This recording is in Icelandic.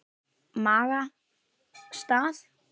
Maga. stað?